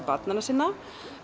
barnanna sinna